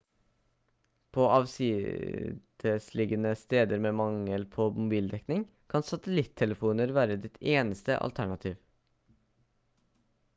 på avsidesliggende steder med mangel på mobildekning kan satellittelefoner være ditt eneste alternativ